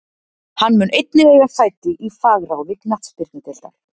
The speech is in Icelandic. Hann mun einnig eiga sæti í fagráði knattspyrnudeildar.